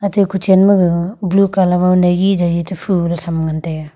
atte kuchen ma gag blue colour mao naigi jaji to puh tham taiga.